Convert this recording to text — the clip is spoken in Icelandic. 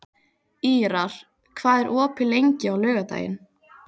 Ýrar, hvað er opið lengi á laugardaginn?